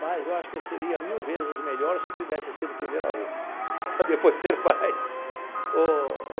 Mas eu acho que eu seria mil vezes melhor se eu tivesse sido primeiro avô para depois ser pai o o.